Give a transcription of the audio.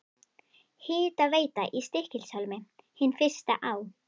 Hitaveita í Stykkishólmi, hin fyrsta á